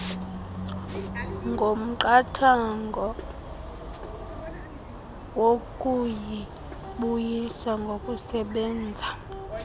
komqathango wokuyibuyisa ngokusebenza